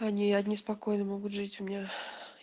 они они спокойно могут жить у меня